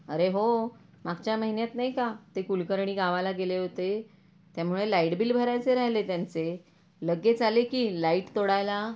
अरे हो मागचा महिन्यात नाही का ते कुलकर्णी गावाला गेले होते त्या मुळे लाईट बिल भरायचे राहिले त्यांचे लगेच आले कि लाईट तोडायला.